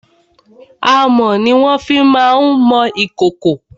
Amọ̀ ni wọ́n fi má ń mọ ìkòkò.